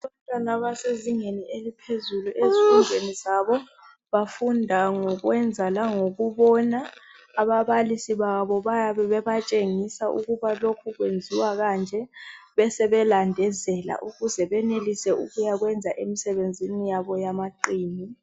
Abantwana abasezingeni eliphezulu ezifundweni zabo. Bafunda ngokwenza langokubona, ababalisi babo bayabe bebatshengisa ukuba lokhu kwenziwa kanje besebelandezela ukuze benelise ukuyakwenza emisebenzini yabo yamaqini.